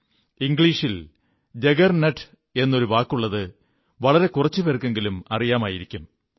ഇംഗ്ലീഷിൽ ജഗർനട്ട് എന്നൊരു വാക്കുള്ളത് വളരെ കുറച്ചു പേർക്കെങ്കിലും അറിയാമായിരിക്കൂം